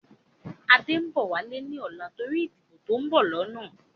Adé ń bọ̀ wálé ni ọ̀la torí ìdìbò to ń bọ̀ lọ́nà